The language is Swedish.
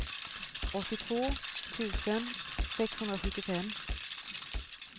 åttiotvå tusen sexhundrasjuttiofem